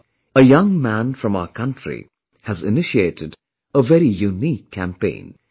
But, a young man from our country has initiated a very unique campaign